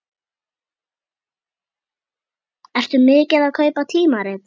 Ertu mikið að kaupa tímarit?